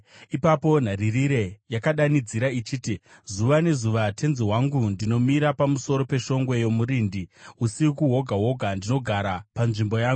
Ipapo nharirire yakadanidzira ichiti, “Zuva nezuva, tenzi wangu, ndinomira pamusoro peshongwe yomurindi; usiku hwoga hwoga ndinogara panzvimbo yangu.